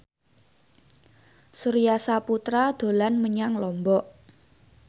Surya Saputra dolan menyang Lombok